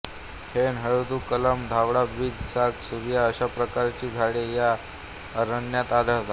ऐन हळदू कलाम धावडा बीजा साग सूर्या अशा प्रकारची झाडे या अरण्यात आढळतात